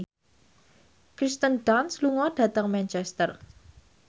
Kirsten Dunst lunga dhateng Manchester